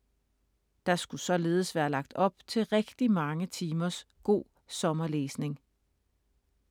Der skulle således være lagt op til rigtig mange timers god sommerlæsning.